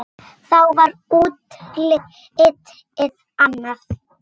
Þá var útlitið annað.